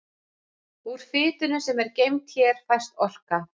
úr fitunni sem er geymd hér fæst orka